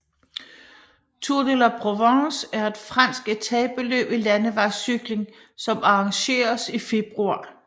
Tour de La Provence er et fransk etapeløb i landevejscykling som arrangeres i februar